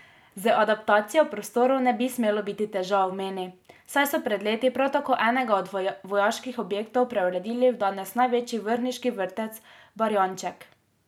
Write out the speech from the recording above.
Z adaptacijo prostorov ne bi smelo biti težav, meni, saj so pred leti prav tako enega od vojaških objektov preuredili v danes največji vrhniški vrtec Barjanček.